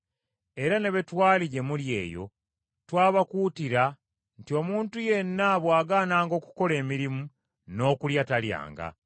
Era ne bwe twali gye muli eyo, twabakuutira nti omuntu yenna bw’agaananga okukola emirimu, n’okulya talyanga.